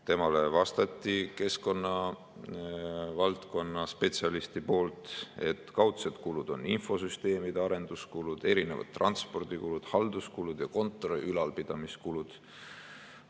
Temale vastas keskkonnavaldkonna spetsialist, kes ütles, et kaudsed kulud on infosüsteemide arenduskulud, transpordikulud, halduskulud ja kontori ülalpidamise kulud.